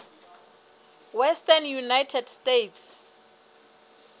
western united states